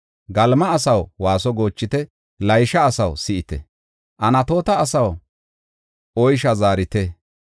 Galima asaw, waaso goochite! Laysha asaw, si7ite! Anatoota asaw, oysha zaarite!